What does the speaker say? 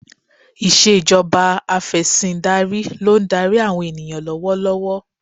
Ìṣèjọba Afẹ̀sìndarí ló ń darí àwọn ènìyàn lọ́wọ́ lọ́wọ́